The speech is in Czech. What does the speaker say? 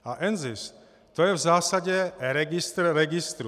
A NZIS, to je v zásadě registr registrů.